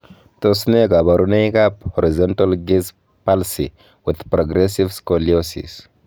Tos nee koborunoikab Horizontal gaze palsy with progressive scoliosis?